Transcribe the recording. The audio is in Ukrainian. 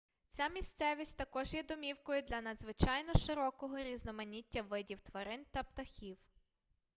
ця місцевість також є домівкою для надзвичайно широкого різноманіття видів тварин та птахів